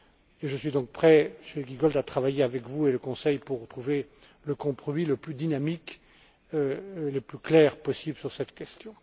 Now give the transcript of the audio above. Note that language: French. Et je suis donc prêt, Monsieur Giegold, à travailler avec vous et le Conseil pour trouver le compromis le plus dynamique et le plus clair possible sur cette question.